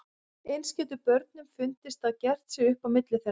Eins getur börnunum fundist að gert sé upp á milli þeirra.